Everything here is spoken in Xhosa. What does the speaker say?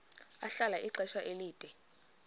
ahlala ixesha elide